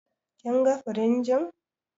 Kin ga firinjin?